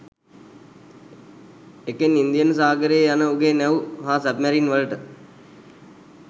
එකෙන් ඉන්දියන් සාගරයේ යන උගේ නැව් හා සබ්මැරින් වලට